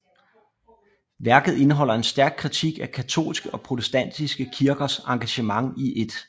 Værket indeholder en stærk kritik af katolske og protestantiske kirkers engagement i 1